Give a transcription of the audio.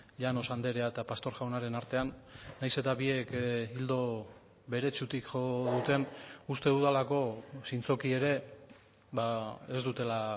llanos andrea eta pastor jaunaren artean nahiz eta biek ildo beretsutik jo duten uste dudalako zintzoki ere ez dutela